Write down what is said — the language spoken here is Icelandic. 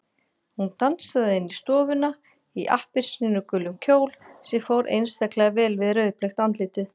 Hún dansaði inn í stofuna í appelsínugulum kjól sem fór einstaklega vel við rauðbleikt andlitið.